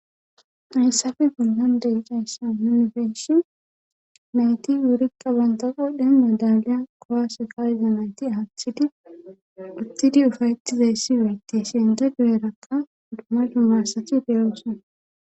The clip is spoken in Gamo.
eyssafe punlande icayssa yunfeshi mayti wuriqa bantaqo dheen madaaliya kowase kaayize mayti aaththidi uttidi ufayetizeyssi weyti siyenda guyerakka duma dumma asathi deyoosana